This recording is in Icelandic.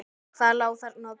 Hvað lá þarna að baki?